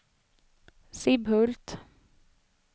Sibbhult